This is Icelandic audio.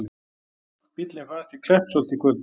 Bíllinn fannst í Kleppsholti í kvöld